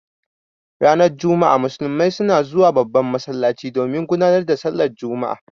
Ranar juma'a musulmai suna zuwa babban masallaci domin gudanar da sallan juma'a.